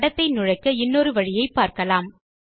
படத்தை நுழைக்க இன்னொரு வழியை பார்க்கலாம்